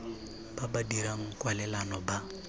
ba ba dirang kwalelano ba